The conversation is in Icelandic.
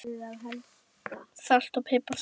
Salt og pipar salat